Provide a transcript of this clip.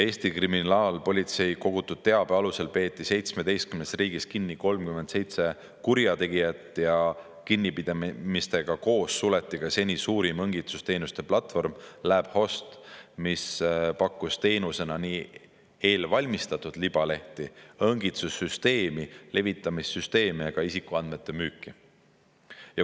Eesti kriminaalpolitsei kogutud teabe alusel peeti 17 riigis kinni 37 kurjategijat ja kinnipidamistega koos suleti ka seni suurim õngitsusteenuste platvorm LabHost, mis pakkus teenusena eelvalmistatud libalehti, õngitsussüsteemi, levitamissüsteemi ja isikuandmete müüki.